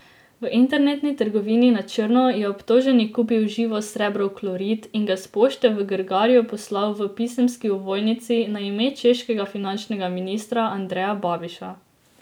V internetni trgovini na črno je obtoženi kupil živosrebrov klorid in ga s pošte v Grgarju poslal v pisemski ovojnici na ime češkega finančnega ministra Andreja Babiša.